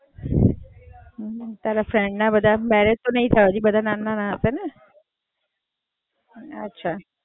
તારા friend ના બધાના મેરેજ તો નહીં થાય હોય બધા હજુ નાના-નાના હશે ને?